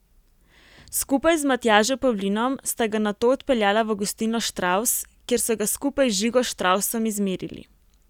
Skupaj z Matjažem Pavlinom sta ga nato odpeljala v gostilno Štravs, kjer so ga skupaj z Žigo Štravsom izmerili.